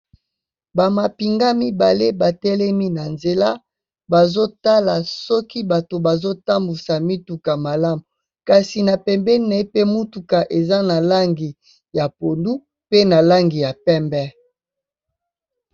Ba mapinga mibale ba telemi na nzela, bazo tala soki bato bazo tambusa mituka malamu. Kasi na pembeni naye pe mutuka eza na langi ya pondu, pe na langi ya pembe.